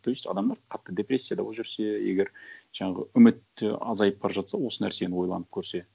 то есть адамдар қатты депрессияда болып жүрсе егер жаңағы үміт те азайып бара жатса осы нәрсені ойланып көрсе